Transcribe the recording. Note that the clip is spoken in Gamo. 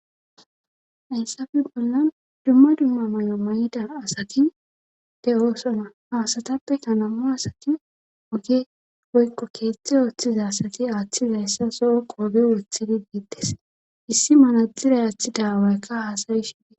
insafe bollan dumma dumma may'o may'ida asatin de'oso na haasatappe kanamo asatin oge woykko keeththe ooththiza asati aaththizayssa soo qooge woththidi giitides. issi manaddiray aaththi dawaykka haasayi shidiee